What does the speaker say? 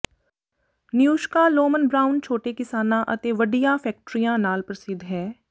ਨਯੂਸ਼ਕਾ Lohmann Brown ਛੋਟੇ ਕਿਸਾਨਾਂ ਅਤੇ ਵੱਡੀਆਂ ਫੈਕਟਰੀਆਂ ਨਾਲ ਪ੍ਰਸਿੱਧ ਹੈ